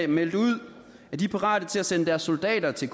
meldt ud at de er parate til at sende deres soldater til